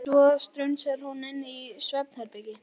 Svo strunsar hún inn í svefnherbergi.